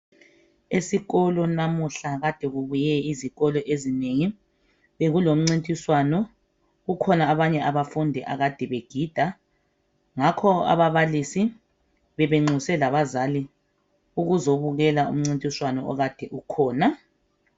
Esikolo namuhla kade kubuye izikolo ezinengi .Bekule mncintiswano kukhona abanye bafundi akade begida. Ngakho ababalisi bebenxuse labazali ukuzobukela umncintiswano ekade ukhona.